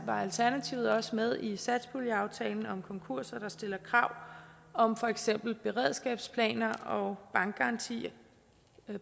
var alternativet også med i satspuljeaftalen om konkurser der stiller krav om for eksempel beredskabsplaner og bankgarantier